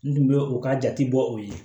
N tun bɛ u ka jate bɔ u ye